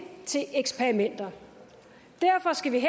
til eksperimenter derfor skal vi